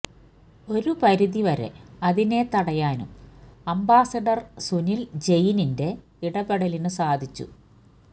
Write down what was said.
ഒരു പരിധി വരെ അതിനെ തടയാനും അംബാസ്സഡർ സുനിൽ ജെയിനിന്റെ ഇടപെടലിനു സാധിച്ചു